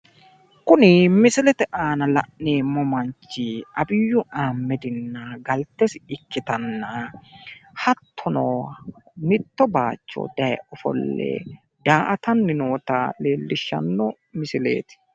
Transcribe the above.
Kuni misilete aana la'neemmo manchi Abiyu Ahmedna galtesi ikkitanna, hatono mitto baayicho daye ofolle daa'atanni noo leellishshanno misileeti.